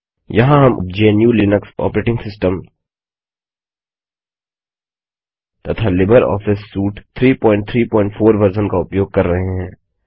यहाँ हम GNU Linux operating system तथा लिबर ऑफिस सूट 334 वर्ज़न का उपयोग कर रहे हैं